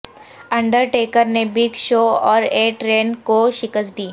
Undertaker نے Big Show اور A Train کو شکست دی